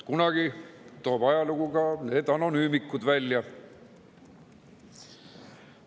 Kunagi toob ajalugu ka need anonüümikud välja.